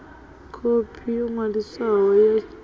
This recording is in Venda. khophi yo ṅwaliswaho ya tshiḽipi